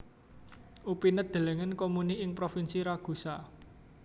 Upinet delengen Comuni ing Provinsi Ragusa